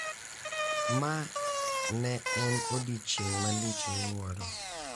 Ma ne en odiechieng' malich miwuoro